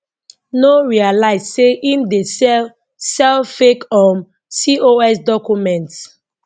no realise say im dey sell sell fake um cos documents